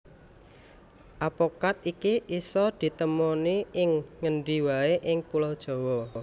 Apokat iki isa ditemoni ing ngendi waé ing Pulo Jawa